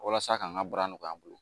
Walasa k'an ka baara nɔgɔya an bolo